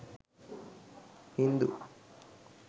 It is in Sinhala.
hindu